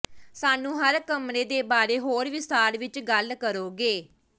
ਸਾਨੂੰ ਹਰ ਕਮਰੇ ਦੇ ਬਾਰੇ ਹੋਰ ਵਿਸਥਾਰ ਵਿੱਚ ਗੱਲ ਕਰੋਗੇ